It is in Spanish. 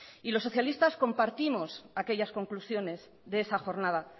los socialistas compartimos aquellas conclusiones de esa jornada